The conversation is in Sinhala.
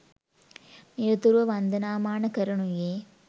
නිරතුරුව වන්දනාමාන කරනුයේ